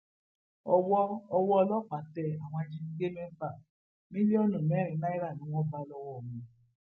owó owó ọlọpàá tẹ àwọn ajínigbé mẹfà mílíọnù mẹrin náírà ni wọn bá lọwọ wọn